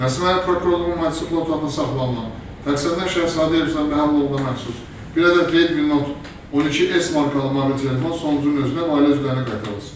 Nəsimi rayon prokurorluğunun Maddəsi protokolda saxlanılan təqsirləndirilən şəxs Hadiyev İslam Məhəmməd oğluna məxsus bir ədəd Redmi Note 12S markalı mobil telefon sonuncunun özünə və ailə üzvlərinə qaytarılsın.